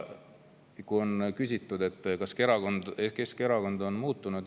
On küsitud, kas Keskerakond on muutunud.